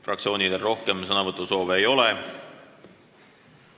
Fraktsioonidel rohkem sõnasoove ei ole.